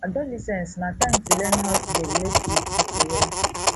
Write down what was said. adolescence na time to learn how to dey relate wit pipo well